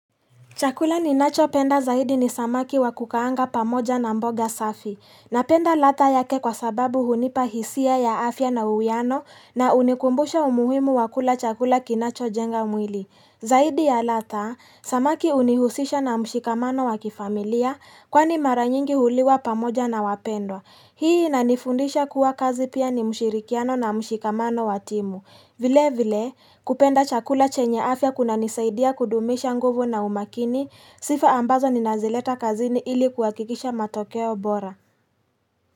Chakula ninachopenda zaidi ni samaki wa kukaanga pamoja na mboga safi. Na penda ladha yake kwa sababu hunipa hisia ya afya na uwiano na hunikumbusha umuhimu wa kula chakula kinachojenga mwili. Zaidi ya ladha, samaki hunihusisha na mshikamano wa kifamilia kwani mara nyingi huliwa pamoja na wapendwa. Hii inanifundisha kuwa kazi pia ni mshirikiano na mshikamano wa timu. Vile vile kupenda chakula chenye afya kunanisaidia kudumisha nguvu na umakini sifa ambazo ninazileta kazini ili kuhakikisha matokeo bora.